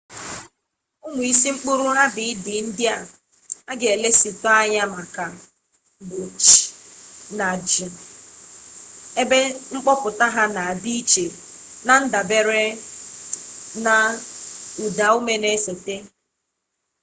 ụmụ isi mkpụrụabịdịị ndị a ga-elesi anya maka bụ c na g ebe mkpọpụta ha na-adị iche na-ndabere na ụdaume na-esote